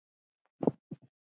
Þinn Sævar Unnar.